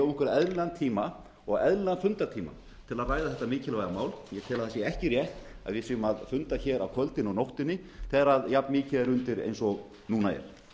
okkur eðlilegan tíma og eðlilegan fundartíma til að ræða þetta mikilvæga mál ég tel að það sé ekki rétt að við séum að funda hér á kvöldin og nóttunni þegar jafnmikið er undir og núna er